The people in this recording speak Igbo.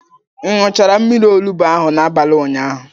Ị ṅụchara mmiri olugbu ahụ n'abalị ụnyaahụ?